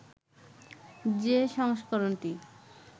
যে সংস্করণটি